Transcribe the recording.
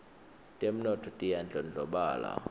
temnotfo tiyandlondlobala